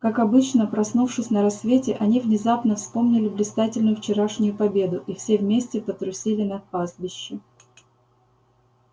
как обычно проснувшись на рассвете они внезапно вспомнили блистательную вчерашнюю победу и все вместе потрусили на пастбище